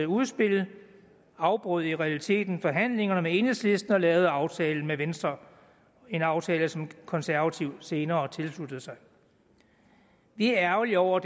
udspil afbrød i realiteten forhandlingerne med enhedslisten og lavede aftalen med venstre en aftale som de konservative senere tilsluttede sig vi er ærgerlige over